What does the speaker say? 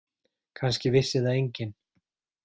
Kannski vissi það enginn.